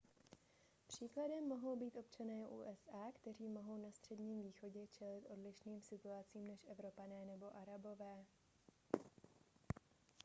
příkladem mohou být občané usa kteří mohou na středním východě čelit odlišným situacím než evropané nebo arabové